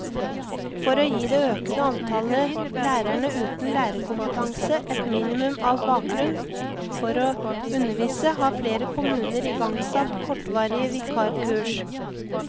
For å gi det økende antallet lærerne uten lærerkompetanse et minimum av bakgrunn for å undervise, har flere kommuner igangsatt kortvarige vikarkurs.